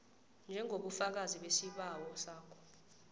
njengobufakazi besibawo sakho